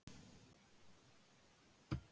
Núna er ég alveg úti á þekju.